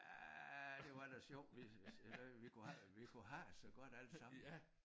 Ja det var da sjovt hvis eller vi kunne have det vi kunne have det så godt alle sammen